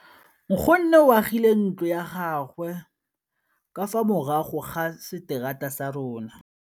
Nkgonne o agile ntlo ya gagwe ka fa morago ga seterata sa rona.